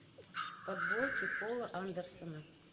подборки пола андерсена